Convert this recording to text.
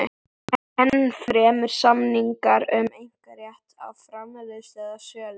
Ennfremur samningar um einkarétt á framleiðslu eða sölu.